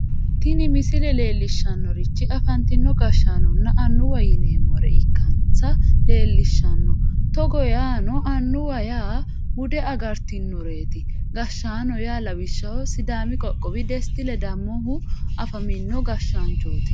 tini misile leellishshannorichi afantino gashshaanonna annuwa yineemmore ikkansa leellishshanno togo yaano annuwa yaa bude agartanoreeti gashshaano yaa lawishshaho sidaami qoqqowi desti ledamohu afamino gashshaanchooti.